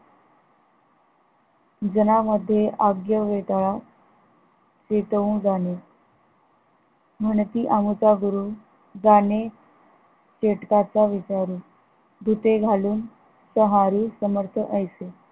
जनामध्ये अग्य वेटळा पेटवू जाणे म्हणती आमचा गुरु जाणे चेटकांचा विचारू भूते घालू त्योहारी समर्थ जैसे